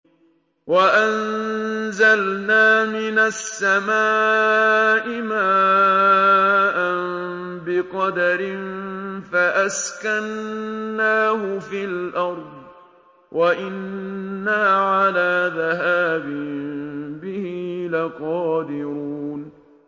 وَأَنزَلْنَا مِنَ السَّمَاءِ مَاءً بِقَدَرٍ فَأَسْكَنَّاهُ فِي الْأَرْضِ ۖ وَإِنَّا عَلَىٰ ذَهَابٍ بِهِ لَقَادِرُونَ